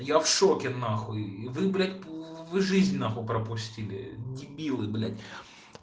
я в шоке нахуй вы блядь вы жизнь нахуй пропустили дебилы блядь